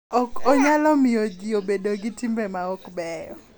Ka ok onyalo miyo ji obed gi timbe ma ok beyo.